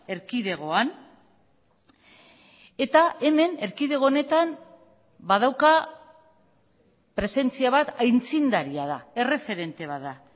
erkidegoan eta hemen erkidego honetan badauka presentzia bat aitzindaria da erreferente bat da